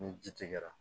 Ni ji tigɛra